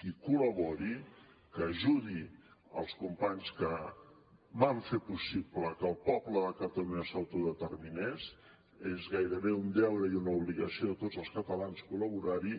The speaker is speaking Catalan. que hi col·labori que ajudi els companys que van fer possible que el poble de catalunya s’autodeterminés és gairebé un deure i una obligació de tots els catalans col·laborar hi